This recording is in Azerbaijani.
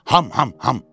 Ham ham ham.